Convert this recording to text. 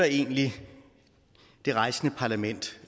egentlig det rejsende parlament